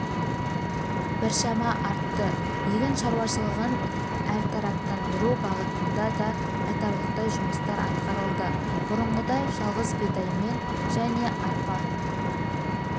біршама артты егін шаруашылығын әртараптандыру бағытында да айтарлықтай жұмыстар атқарылды бұрынғыдай жалғыз бидаймен жне арпа